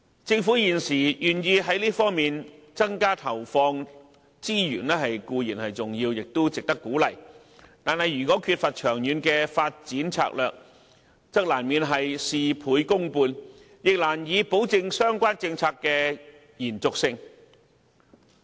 政府現時願意在這方面增加資源投放，固然是值得鼓勵的，但如果缺乏長遠發展策略，則難免會事倍功半，亦難以保證相關政策的延續性。